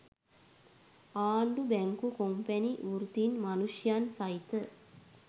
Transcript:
ආණ්ඩු බැංකු කොම්පැණි වෘත්තීන් මනුෂ්‍යයන් සහිත